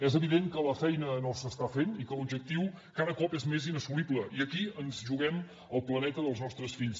és evident que la feina no s’està fent i que l’objectiu cada cop és més inassolible i aquí ens juguem el planeta dels nostres fills